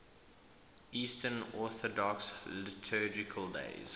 eastern orthodox liturgical days